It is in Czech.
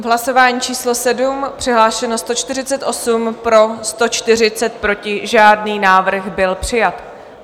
V hlasování číslo 7 přihlášeno 148, pro 140, proti žádný, návrh byl přijat.